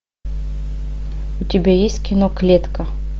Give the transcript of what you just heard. у тебя есть кино клетка